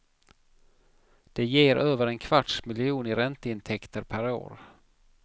Det ger över en kvarts miljon i ränteintäkter per år.